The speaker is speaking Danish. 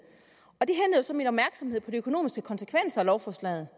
og så min opmærksomhed på de økonomiske konsekvenser af lovforslaget